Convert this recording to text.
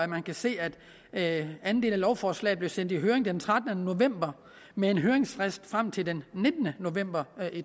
man kan se at anden del af lovforslaget blev sendt i høring den trettende november med en høringsfrist frem til den nittende november